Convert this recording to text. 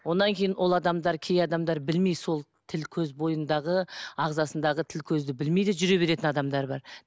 одан кейін ол адамдар кей адамдар білмей сол тіл көз бойындағы ағзасындағы тіл көзді білмей де жүре беретін адамдар бар